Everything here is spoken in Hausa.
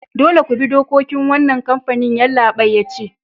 Dolle ku bi dokokin wanan kampanin! Yallabain ya ce.